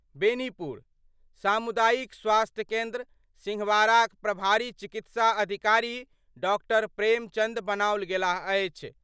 बेनीपुर : सामुदायिक स्वास्थ्य केन्द्र सिंहवाड़ाक प्रभारी चिकित्सा अधिकारी डॉ. प्रेमचंद बनाओल गेलाह अछि।